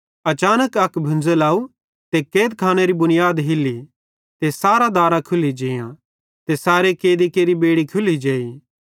अचानक अक भुंज़ल अव ते कैदखानेरे बुनीयाद हिल्ली ते सारां दारां खुल्ली जेआं ते सैरी कैदी केरि बेड़ी भी खुल्ली जेई